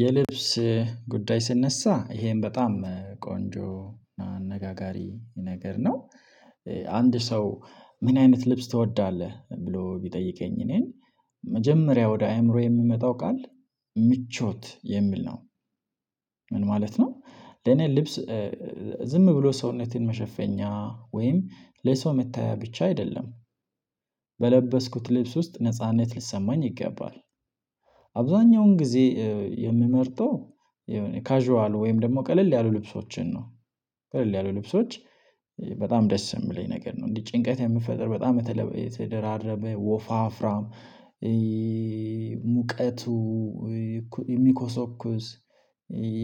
የልብስ ጉዳይ ሲነሳ ይሄም በጣም ቆንጆ አነጋጋሪ ነገር ነው። አንድ ሰው ምን አይነት ልብስ ትወዳለህ? ብሎ ቢጠይቀኝ እኔን መጀመሪያ ወደ አእምሮዬ የሚመጣው ቃል ምቾት የሚል ነው። ምን ማለት ነው? ለኔ ልብስ ዝም ብሎ ሰውነቴን መሸፈኛ ወይም ለሰው መታያ ብቻ አይደለም። በለበስኩት ልብስ ውስጥ ነጻነት ሊሰማኝ ይገባል። አብዛኛውን ጊዜ የምመርጠው የሆነ ካዥዋል ወይም ደግሞ ቀለል ያሉ ልብሶችን ነው። ቀለል ያሉ ልብሶች በጣም ደስ የሚለኝ ነገር ነው። እንዲህ ጭንቀት የሚፈጥር በጣም የተደራረበ ወፋፍራም ሙቀቱ የሚኮሰኩስ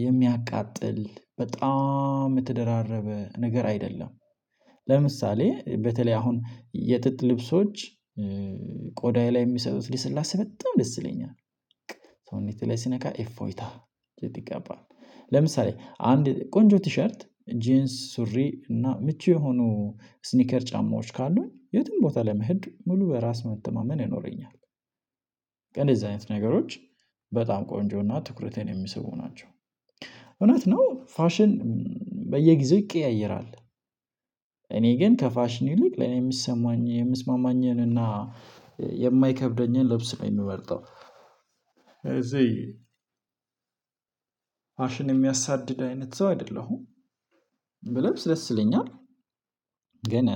የሚያቃጥል በጣም የተደራረበ ነገር አይደለም። ለምሳሌ በተለይ አሁን የጥጥ ልብሶች። ቆዳዬ ላይ የሚሰጡት ልስላሴ በጣም ደስ ይለኛል። ሰውነቴ ላይ ሲነካ ኤፎይታ ጂቲ ይጋባል። ለምሳሌ አንድ ቆንጆ ቲሸርት ጂንስ ሱሪ እና ምቹ የሆኑ ስኒከር ጫማዎች ካሉኝ የትም ቦታ ለመሄድ ሙሉ በራስ መተማመን ይኖረኛል። እንደዚህ አይነት ነገሮች በጣም ቆንጆ እና ትኩረቴን የሚሲቡ ናቸው። እውነት ነው ፋሽን በየጊዜው ይቀያየራል። እኔ ግን ከፋሽን ይልቅ ለኔ የምሰማኝ የምስማማኝንና የማይከብደኝን ልብስ ነው የምመርጠው። እዚህ ፋሽን የሚያሳድድ አይነት ሰው አይደለሁም። ብለብስ ደስ ይለኛል። ግን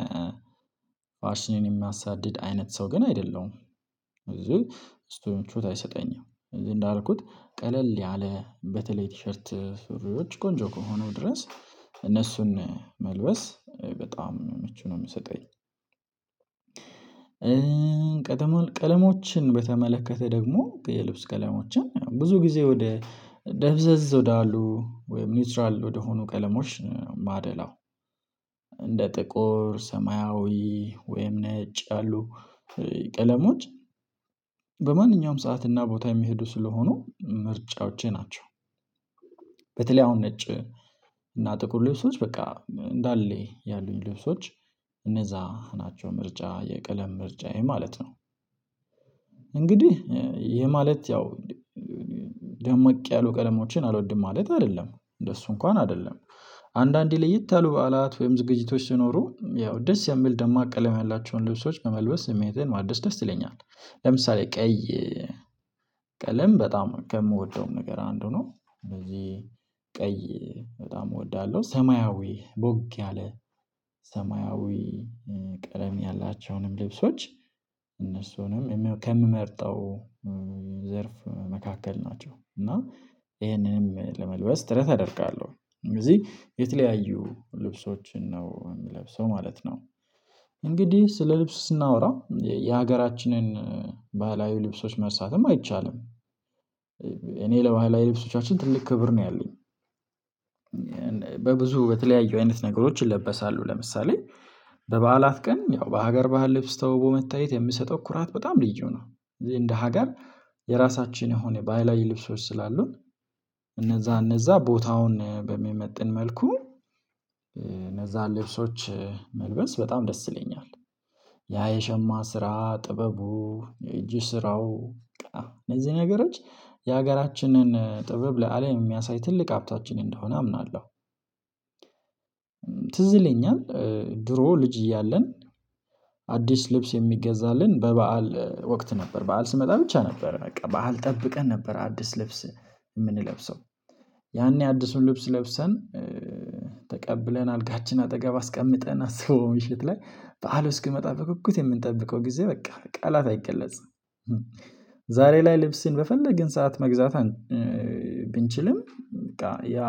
ፋሽንን የሚያሳድድ አይነት ሰው ግን አይደለሁም። ስለዚህ ብዙ ምቾት አይሰጠኝም። እዚህ እንዳልኩት ቀለል ያለ በተለይ ቲሸርት ሱሪዎች ቆንጆ ከሆነው ድረስ እነሱን መልበስ በጣም ምቹ ነው የምሰጠኝ። ቀለሞችን በተመለከተ ደግሞ የልብስ ቀለሞችን ብዙ ጊዜ ወደ ደብዘዝ ወደ አሉ ወይም ኒውትራል ወደሆኑ ቀለሞች ማደላው። እንደ ጥቁር ሰማያዊ ወይም ነጭ ያሉ ቀለሞች። በማንኛውም ሰዓትና ቦታ የሚሄዱ ስለሆኑ ምርጫዎቼ ናቸው። በተለይ አሁን ነጭ እና ጥቁር ልብሶች በቃ እንዳለ ያሉኝ ልብሶች እነዛ ናቸው ምርጫ የቀለም ምርጫዬ ማለት ነው። እንግዲህ ይሄ ማለት ያው ደምቅ ያሉ ቀለሞችን አልወድም ማለት አይደለም እንደሱ እንኳን አይደለም። አንዳንዴ ለየት ያሉ በዓላት ወይም ዝግጅቶች ሲኖሩ ያው ደስ የሚል ደማቅ ቀለም ያላቸውን ልብሶች በመልበስ ስሜቴን ማደስ ደስ ይለኛል። ለምሳሌ ቀይ ቀለም በጣም ከምወደውም ነገር አንዱ ነው ስለዚህ ቀይ በጣም እወዳለሁ። ሰማያዊ ቦግ ያለ ሰማያዊ ቀለም ያላቸውንም ልብሶች እነሱንም ከምመርጠው ዘርፍ መካከል ናቸው። እና ይሄንንም ለመልበስ ጥረት አደርጋለሁ ስለዚህ የተለያዩ ልብሶችን ነው የምለብሰው ማለት ነው። እንግዲህ ስለ ልብስ ስናወራ የሀገራችንን ባህላዊ ልብሶች መርሳትም አይቻልም። እኔ ለባህላዊ ልብሶቻችን ትልቅ ክብር ነው ያለኝ። በብዙ በተለያዩ አይነት ነገሮች ይለበሳሉ ለምሳሌ በበዓላት ቀን ያው በሀገር ባህል ልብስ ተውቦ መታየት የምሰጠው ኩራት በጣም ልዩ ነው። እዚህ እንደ ሀገር የራሳችን የሆነ ባህላዊ ልብሶች ስላሉን እነዛ እነዛ ቦታውን በሚመጥን መልኩ እነዛን ልብሶች መልበስ በጣም ደስ ይለኛል። ያ የሸማ ስራ ጥበቡ የእጅ ስራው እነዚህ ነገሮች የሀገራችንን ጥበብ ለአለም የሚያሳይ ትልቅ ሀብታችን እንደሆነ አምናለሁ። ትዝ ይለኛል። ድሮ ልጅ እያለን አዲስ ልብስ የሚገዛልን በበዓል ወቅት ነበር በዓል ስመጣ ብቻ ነበር በቃ በዓል ጠብቀን ነበር አዲስ ልብስ የምንለብሰው ያኔ አዲሱን ልብስ ለብሰን ተቀብለን አልጋችን አጠገብ አስቀምጠን አስበው ምሽት ላይ በዓል እስኪመጣ በጉጉት የምንጠብቀው ጊዜ በቃ በቃላት አይገለጽም። ዛሬ ላይ ልብስን በፈለግን ሰዓት መግዛት ብንችልም በቃ ያ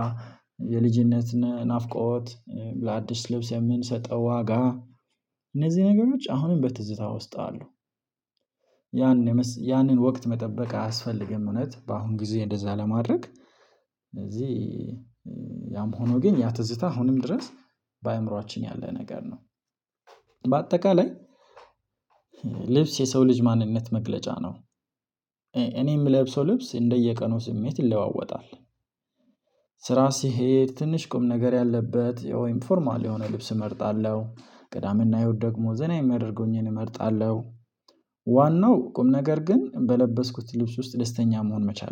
የልጅነት ናፍቆት ለአዲስ ልብስ የምንሰጠው ዋጋ እነዚህ ነገሮች አሁንም በትዝታ ውስጥ አሉ። ያንን ያንን ወቅት መጠበቅ አያስፈልግም እውነት በአሁን ጊዜ እንደዛ ለማድረግ እዚህ ያም ሆኖ ግን ያ ትዝታ አሁንም ድረስ በአእምሮአችን ያለ ነገር ነው። በአጠቃላይ ልብስ የሰው ልጅ ማንነት መግለጫ ነው። እኔ የምለብሰው ልብስ እንደየቀኑ ስሜት ይለዋወጣል። ስራ ስሄድ ትንሽ ቁም ነገር ያለበት ወይም ፎርማል የሆነ ልብስ እመርጣለሁ ቅዳምና ህይወት ደግሞ ዘና የሚያደርገውኝን እመርጣለሁ። ዋናው ቁም ነገር ግን በለበስኩት ልብስ ውስጥ ደስተኛ መሆን መቻል